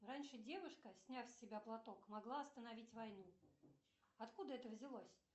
раньше девушка сняв с себя платок могла остановить войну откуда это взялось